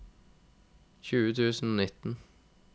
tjue tusen og nitten